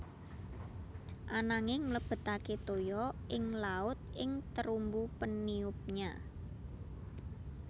Ananging mlebetake toya ing laut ing terumbu peniupnya